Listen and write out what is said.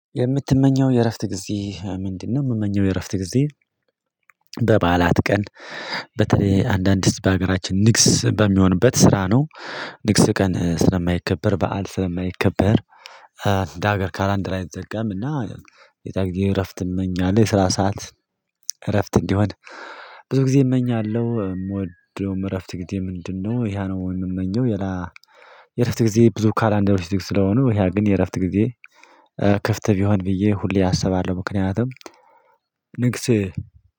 የምትመኘው የእረፍት ጊዜ ምንድነው? የምመኘው የእረፍት ጊዜ። በበዓላት ቀን በተለይ አንዳንድ ህዝብ በሀገራችን ንግስ በሚሆንበት ስራ ነው። ንግስ ቀን ስለማይከበር በዓል ስለማይከበር እንደ ሀገር ካላንድ ላይ አይዘጋምና እና። የዛግዜ እረፍት እመኛለሁ የስራ ሰዓት እረፍት እንዲሆን ብዙ ጊዜ እመኛለሁ። የምወደውም እረፍት ጊዜ ምንድነው? ይሄ ነው የምመኘው። ሌላ። የእረፍት ጊዜ ብዙ ካላንደር ዝግ ስለሆኑ ይሄ ግን የእረፍት ጊዜ ክፍት ቢሆን ብዬ ሁሌ አሰባለሁ። ምክንያቱም ንግስ